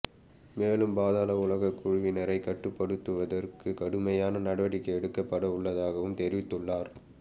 மேலும் பாதாள உலகக்குழுவினரை கட்டுப்படுத்துவதற்கு கடுமையான நடவடிக்கை எடுக்கப்பட உள்ளதாகவும் தெரிவித்துள்ளார்